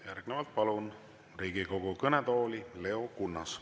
Järgnevalt palun Riigikogu kõnetooli Leo Kunnase.